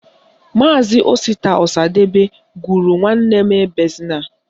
Maazi Osita Ọsadebe gụrụ Nwanne m ebezina